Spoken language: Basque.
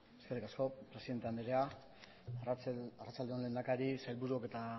eskerrik asko presidente andrea arratsalde on lehendakari sailburuok eta